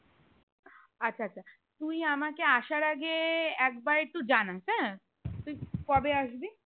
আচ্ছা আচ্ছা তুই আমাকে আসার আগে এক বার একটু জানাস হ্যাঁ তুই কবে আসবি হ্যাঁ